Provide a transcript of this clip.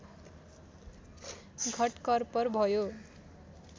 घटकर्पर भयो